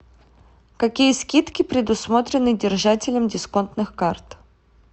какие скидки предусмотрены держателям дисконтных карт